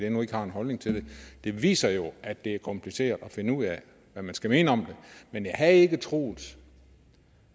endnu ikke har en holdning til det viser jo at det er kompliceret at finde ud af hvad man skal mene om det men jeg havde ikke troet